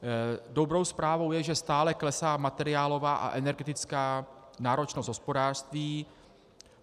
Dobrou zprávou je, že stále klesá materiálová a energetická náročnost hospodářství.